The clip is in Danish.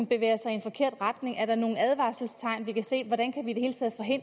bevæger sig i en forkert retning er nogle advarselstegn vi kan se